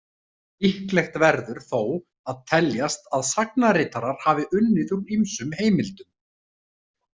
Líklegt verður þó að teljast að sagnaritarar hafi unnið úr ýmsum heimildum.